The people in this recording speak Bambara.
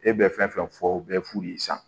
E bɛ fɛn fɛn fɔ u bɛ fu de san